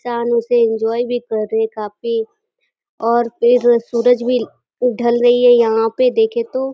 से एन्जॉय भी कर रहे है काफी और फिर सूरज भी ढल रही है यहाँ पे देखे तो --